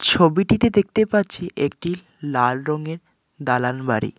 ছবিটিতে দেখতে পাচ্ছি একটি লাল রঙের দালান বাড়ি।